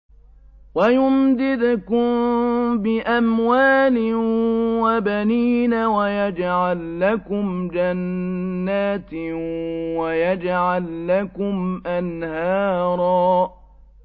وَيُمْدِدْكُم بِأَمْوَالٍ وَبَنِينَ وَيَجْعَل لَّكُمْ جَنَّاتٍ وَيَجْعَل لَّكُمْ أَنْهَارًا